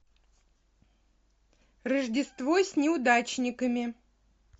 рождество с неудачниками